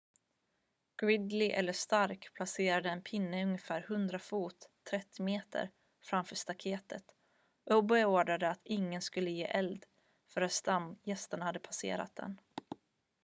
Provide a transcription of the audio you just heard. gridley eller stark placerade en pinne ungefär 100 fot 30 m framför staketet och beordrade att ingen skulle ge eld förrän stamgärsterna passerat den